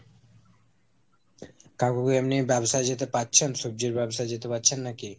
কাকু কি এমনি ব্যবসায় যেতে পারছেন, সবজির ব্যবসায় যেতে পারছেন নাকি?